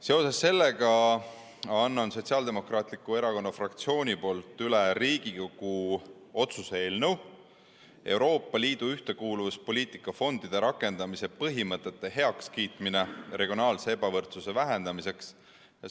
Seoses sellega annan Sotsiaaldemokraatliku Erakonna fraktsiooni nimel üle Riigikogu otsuse "Perioodi 2021– 2027 Euroopa Liidu ühtekuuluvuspoliitika fondide rakendamise põhimõtete heakskiitmine regionaalse ebavõrdsuse vähendamiseks" eelnõu.